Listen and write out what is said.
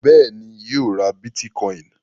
Bẹ́ẹ̀ ni, yóò ra bítíkọ́ìn.